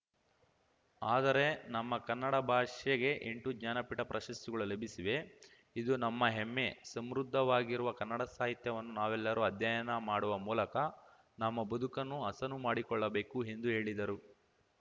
ಆದರೆ ನಮ್ಮ ಕನ್ನಡ ಭಾಷೆಗೆ ಎಂಟು ಜ್ಞಾನಪೀಠ ಪ್ರಶಸ್ತಿಗಳು ಲಭಿಸಿವೆ ಇದು ನಮ್ಮ ಹೆಮ್ಮೆ ಸಮೃದ್ಧವಾಗಿರುವ ಕನ್ನಡ ಸಾಹಿತ್ಯವನ್ನು ನಾವೆಲ್ಲರೂ ಅಧ್ಯಯನ ಮಾಡುವ ಮೂಲಕ ನಮ್ಮ ಬದುಕನ್ನು ಹಸನು ಮಾಡಿಕೊಳ್ಳಬೇಕು ಎಂದು ಹೇಳಿದರು